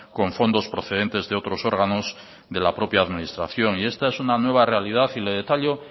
con fondos procedentes de otros órganos de la propia administración y esta es una nueva realidad y le detallo